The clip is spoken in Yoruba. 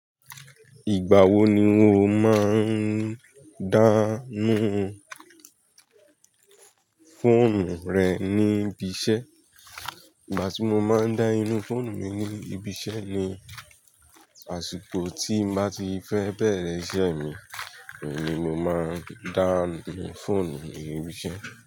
Ìgbà wo ni o máa ń dá nu fọ́ọ̀nù rẹ ní ibi iṣẹ́? Ìgbà tí mo máa ń dá inú foonù mi ní ibi iṣẹ́ ni àsìkò tí ń bàá ti fẹ́ bẹ̀rẹ̀ iṣẹ́ mi, ni mo máa ń dá nú foonù mi ibi iṣẹ́